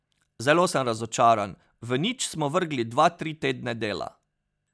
Zelo sem razočaran, v nič smo vrgli, dva, tri tedne dela.